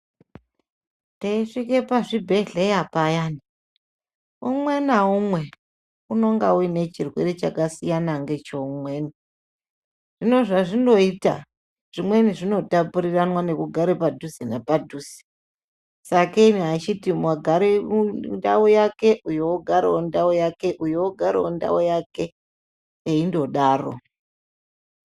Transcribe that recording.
Teyisvika pazvibhedhlera payani umwe naumwe anenge ane chitenda chakasiyana necheumweni hino zva zvichinoita zvimweni zvinotapuriramwa nekugara padhuze nepadhuze sakei vachiti agare ndau yake uyu ogare ndau yake eyindodaro.